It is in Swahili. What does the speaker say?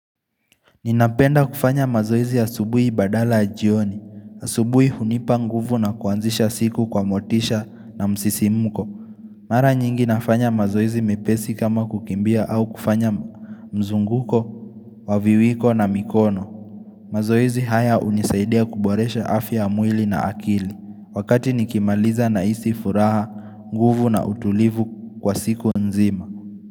Ninapenda kufanya mazoezi asubuhi badala ya jioni. Asubuhi hunipa nguvu na kuanzisha siku kwa motisha na msisimko Mara nyingi nafanya mazoezi mepesi kama kukimbia au kufanya mzunguko wa viwiko na mikono mazoezi haya hunisaidia kuboresha afya ya mwili na akili, wakati nikimaliza nahisi furaha nguvu na utulivu kwa siku nzima.